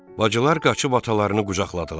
Bacılar qaçıb atalarını qucaqladılar.